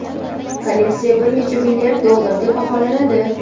Kolleksiya bir necha milliard dollarga baholanadi.